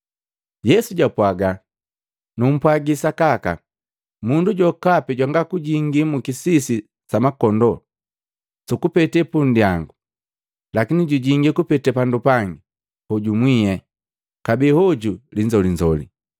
Yesu japwaga, “Numpwagi sakaka, mundu jokapi jwanga kujingi mukisisi sa makondoo sukukupetee punndyangu, lakini jujingi kupete pandu pangi, hoju mwie kabee hoju linzolinzoli.